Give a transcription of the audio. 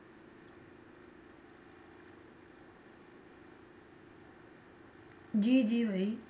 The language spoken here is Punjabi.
ਜੀ ਜੀ ਉਹੀ